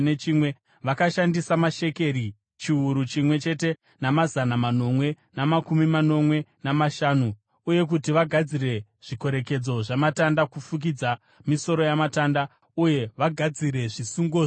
Vakashandisa mashekeri chiuru chimwe chete namazana manomwe namakumi manomwe namashanu uye kuti vagadzire zvikorekedzo zvamatanda, kufukidza misoro yamatanda, uye vagadzire zvisungo zvawo.